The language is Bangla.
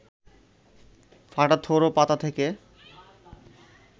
ফাটা থোড় ও পাতা থেকে